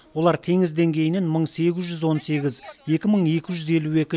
олар теңіз деңгейінен мың сегіз жүз он сегіз екі мың екі жүз елу екі